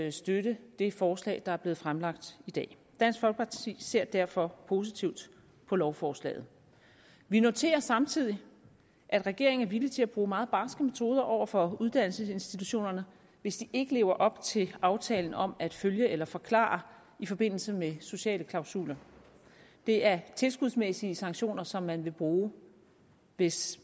at støtte det forslag der er blevet fremlagt i dag dansk folkeparti ser derfor positivt på lovforslaget vi noterer samtidig at regeringen er villig til at bruge meget barske metoder over for uddannelsesinstitutionerne hvis de ikke lever op til aftalen om at følge eller forklare i forbindelse med sociale klausuler det er tilskudsmæssige sanktioner som man vil bruge hvis